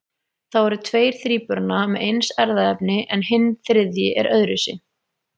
Þá eru tveir þríburana með eins erfðaefni en hinn þriðji er öðruvísi.